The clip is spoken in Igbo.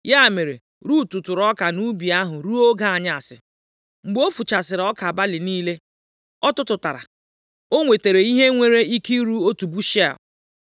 Ya mere, Rut tụtụrụ ọka nʼubi ahụ ruo oge anyasị. Mgbe ọ fuchasịrị ọka balị niile ọ tụtụtara, o nwetara ihe nwere ike iru otu bushel.